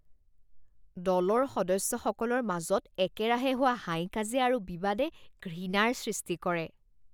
দলৰ সদস্যসকলৰ মাজত একেৰাহে হোৱা হাই কাজিয়া আৰু বিবাদে ঘৃণাৰ সৃষ্টি কৰে